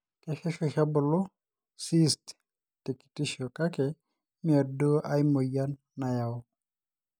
kesesh oshi ebulu ena cysts te kitisho kake ime duo ae moyian nayau